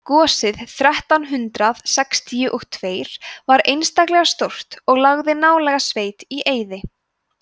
gosið þrettán hundrað sextíu og tveir var einstaklega stórt og lagði nálæga sveit í eyði